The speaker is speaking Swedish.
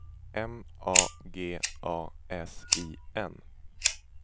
M A G A S I N